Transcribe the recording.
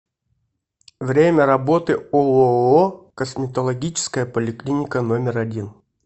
время работы ооо косметологическая поликлиника номер один